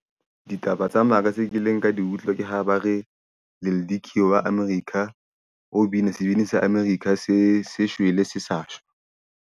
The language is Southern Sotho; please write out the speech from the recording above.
Ditaba tsa maka tse kileng ka di utlwa ke ha ba re Lil Dicky wa America ho bina, sebini sa America se shwele se sa shwa.